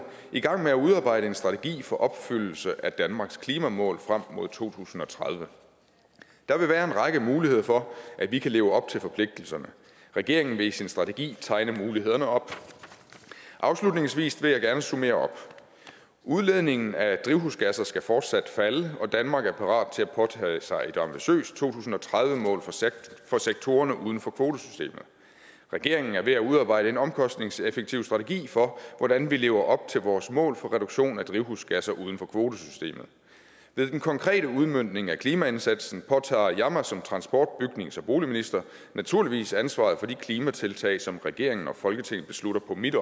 i gang med at udarbejde en strategi for opfyldelsen af danmarks klimamål frem mod to tusind og tredive der vil være en række muligheder for at vi kan leve op til forpligtelserne regeringen vil i sin strategi tegne mulighederne op afslutningsvis vil jeg gerne summere op udledningen af drivhusgasser skal fortsat falde og danmark er parat til at påtage sig et ambitiøst to tusind og tredive mål for sektorerne uden for kvotesystemet regeringen er ved at udarbejde en omkostningseffektiv strategi for hvordan vi lever op til vores mål for reduktion af drivhusgasser uden for kvotesystemet ved den konkrete udmøntning af klimaindsatsen påtager jeg mig som transport bygnings og boligminister naturligvis ansvaret for de klimatiltag som regeringen og folketinget beslutter på mit